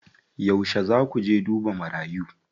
Yauce zaa ku je duba marayu?